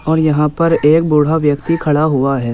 और यहाँ पर एक बूढ़ा व्यक्ति खड़ा हुआ है।